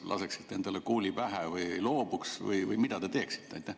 Kas te laseksite endale kuuli pähe või loobuksite sellest või mida te teeksite?